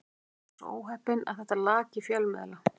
Ég var svo óheppinn að þetta lak í fjölmiðla.